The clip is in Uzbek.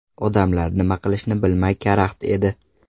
Odamlar nima qilishni bilmay karaxt edi.